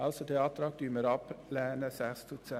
Deshalb lehnen wir diesen Antrag ab.